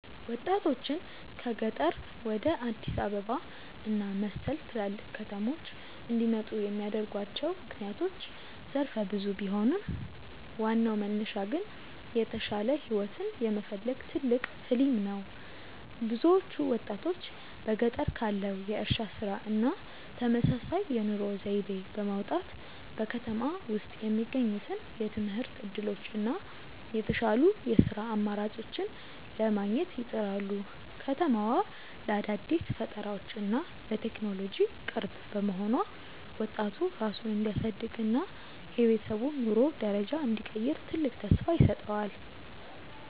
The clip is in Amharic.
ወጣቶችን ከገጠር ወደ አዲስ አበባ እና መሰል ትላልቅ ከተሞች እንዲመጡ የሚያደርጓቸው ምክንያቶች ዘርፈ ብዙ ቢሆኑም፣ ዋናው መነሻ ግን የተሻለ ህይወትን የመፈለግ ትልቅ "ህሊም" ነው። ብዙዎቹ ወጣቶች በገጠር ካለው የእርሻ ስራ እና ተመሳሳይ የኑሮ ዘይቤ በመውጣት፣ በከተማ ውስጥ የሚገኙትን የትምህርት እድሎች እና የተሻሉ የስራ አማራጮችን ለማግኘት ይጥራሉ። ከተማዋ ለአዳዲስ ፈጠራዎች እና ለቴክኖሎጂ ቅርብ መሆኗ፣ ወጣቱ ራሱን እንዲያሳድግ እና የቤተሰቡን የኑሮ ደረጃ እንዲቀይር ትልቅ ተስፋ ይሰጠዋል።